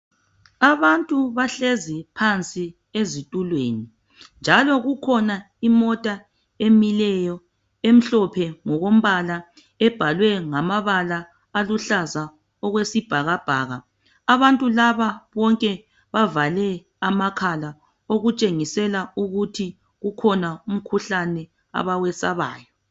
Abantu bahlezi phansi ezitulweni njalo kukhona imota emileyo emhlophe ngokombala ebhalwe ngamabala aluhlaza okwesibhakabhaka abantu laba bonke bavale amakhala okutshengisela ukuthi kukhona umkhuhlane abawesabayo